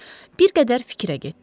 Bir qədər fikrə getdi.